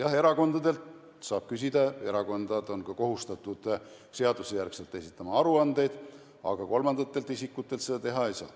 Jah, erakondadelt saab küsida, erakonnad on seaduse järgi ka kohustatud esitama aruandeid, aga kolmandatelt isikutelt seda teha ei saa.